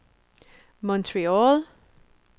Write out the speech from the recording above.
Montreal